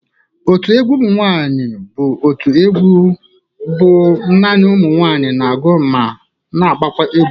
Otu egwu ụmụ nwaanyị bụ otu egwu ọ bụ nani ụmụ nwaanyị na-agụ na agbakwa egwu.